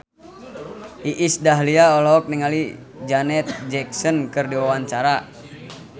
Iis Dahlia olohok ningali Janet Jackson keur diwawancara